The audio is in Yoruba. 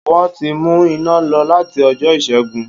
Wọ́n ti mú iná lọ láti ọjọ́ ìṣẹ́gun